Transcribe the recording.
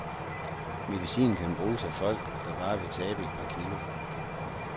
Medicinen kan bruges af folk, der bare vil tabe et par kilo.